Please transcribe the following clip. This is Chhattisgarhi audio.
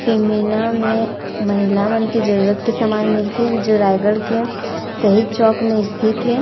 फीमेना में महिला मन के जरुरत के समान मिलथे जो रायगढ़ के शहीद चौक में स्थित हे।